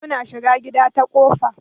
Muna shiga gida ta kofa.